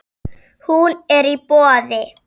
Hún er í boði.